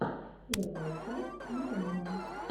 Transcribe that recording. первая часть милана